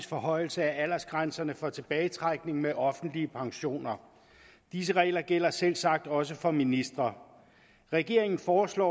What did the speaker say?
forhøjelse af aldersgrænserne for tilbagetrækning med offentlige pensioner disse regler gælder selvsagt også for ministre regeringen foreslår